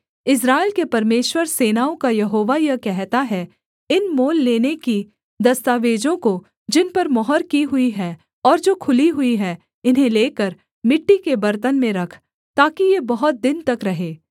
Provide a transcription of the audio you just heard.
इस्राएल के परमेश्वर सेनाओं का यहोवा यह कहता है इन मोल लेने की दस्तावेजों को जिन पर मुहर की हुई है और जो खुली हुई है इन्हें लेकर मिट्टी के बर्तन में रख ताकि ये बहुत दिन तक रहें